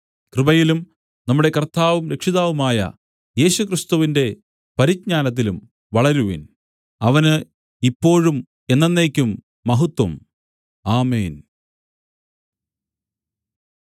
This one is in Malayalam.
കൃപയിലും നമ്മുടെ കർത്താവും രക്ഷിതാവുമായ യേശുക്രിസ്തുവിന്റെ പരിജ്ഞാനത്തിലും വളരുവിൻ അവന് ഇപ്പോഴും എന്നെന്നേക്കും മഹത്വം ആമേൻ